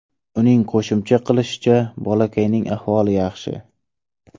Uning qo‘shimcha qilishicha, bolakayning ahvoli yaxshi.